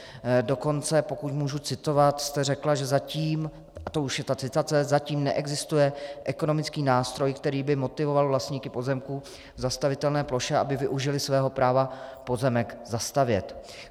Dokonce, pokud můžu citovat, jste řekla, že zatím - a to už je ta citace - zatím neexistuje ekonomický nástroj, který by motivoval vlastníky pozemků v zastavitelné ploše, aby využili svého práva pozemek zastavět.